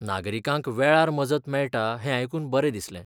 नागरिकांक वेळार मजत मेळटा हें आयकून बरें दिसलें.